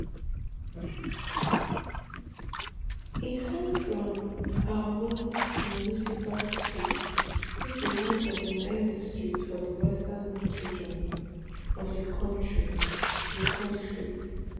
e come from aowin municipal district wey be one of di nine districts for di western north region of di kontri di kontri